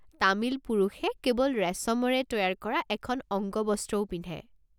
তামিল পুৰুষে কেৱল ৰেচমেৰে তৈয়াৰ কৰা এখন অঙ্গবস্ত্ৰও পিন্ধে।